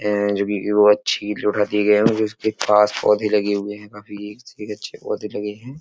ए जोकि अच्छी दिए गये हैं। उसके पास पौधे लगे हुए हैं। काफ़ी इस अच्छे पौधे लगे हैं।